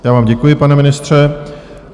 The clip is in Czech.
Já vám děkuji, pane ministře.